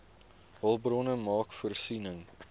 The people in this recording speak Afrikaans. hulpbronne maak voorsiening